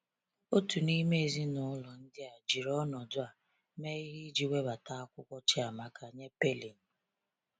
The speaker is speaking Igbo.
Otu n’ime ezinụlọ ndị a jiri ọnọdụ a mee ihe iji webata akwụkwọ Chiamaka nye Pailing.